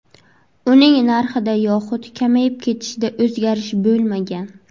Uning narxida yoxud kamayib ketishida o‘zgarish bo‘lmagan.